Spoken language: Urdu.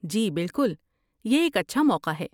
جی بالکل! یہ ایک اچھا موقع ہے۔